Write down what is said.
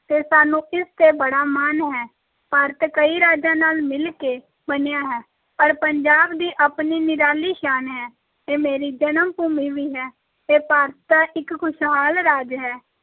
ਤੇ ਸਾਨੂੰ ਇਸ ‘ਤੇ ਬੜਾ ਮਾਣ ਹੈ, ਭਾਰਤ ਕਈ ਰਾਜਾਂ ਨਾਲ ਮਿਲ ਕੇ ਬਣਿਆ ਹੈ ਪਰ ਪੰਜਾਬ ਦੀ ਆਪਣੀ ਨਿਰਾਲੀ ਸ਼ਾਨ ਹੈ, ਇਹ ਮੇਰੀ ਜਨਮ-ਭੂਮੀ ਵੀ ਹੈ, ਇਹ ਭਾਰਤ ਦਾ ਇੱਕ ਖੁਸ਼ਹਾਲ ਰਾਜ ਹੈ,